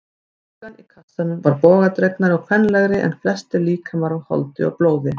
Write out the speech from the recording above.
Dúkkan í kassanum var bogadregnari og kvenlegri en flestir líkamar af holdi og blóði.